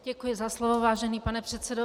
Děkuji za slovo, vážený pane předsedo.